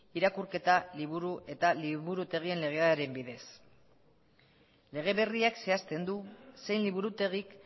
irakurketa liburu eta liburutegien legearen bidez lege berriak zehazten du zein liburutegik